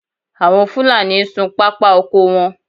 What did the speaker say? Àwọn Fúlàní ń sun pápá oko wọn